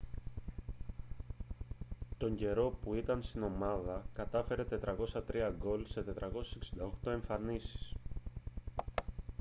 τον καιρό που ήταν στην ομάδα κατάφερε 403 γκολ σε 468 εμφανίσεις